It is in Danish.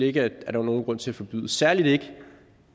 ikke at der var nogen grund til forbyde særlig ikke